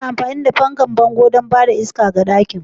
Ana amfani da fankan bango don ba da iska ga ɗakin.